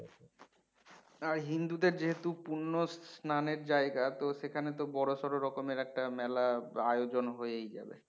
আর হিন্দু দের যেহতু পুন্য স্নানের জায়গা তো সেখানে তো বড়োসড়ো রকমের একটা মেলার আয়োজন হয়েই যাবে